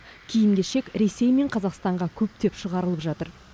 киім кешек ресей мен қазақстанға көптеп шығарылып жатыр